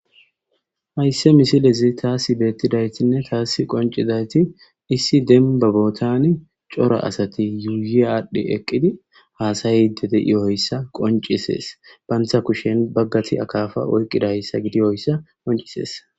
Haysse misilezi taasi beettidaytinne taasi qoncidayti issi denba bootani cora asati yuuyi aadhdhi eqqidi haasayide de'ioyssa qoncisees bantha kushen baggati akaafa oykqidayssa gidiyoyssa qoncisees.